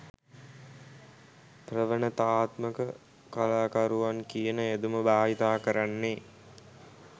ප්‍රවනතාත්මක කලාකරුවන් කියන යෙදුම භාවිත කරන්නෙ?